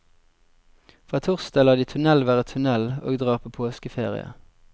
Fra torsdag lar de tunnel være tunnel og drar på påskeferie.